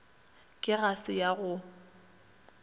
ke ga se ya go